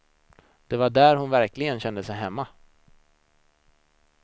Det var där hon verkligen kände sig hemma.